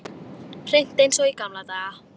Hreint eins og í gamla daga.